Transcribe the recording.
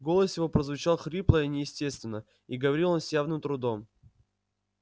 голос его прозвучал хрипло и неестественно и говорил он с явным трудом